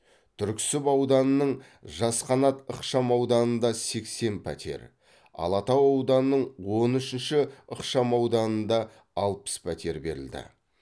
түрксіб ауданының жас қанат ықшамауданында сексен пәтер алатау ауданының он үшінші ықшамауданында алпыс пәтер берілді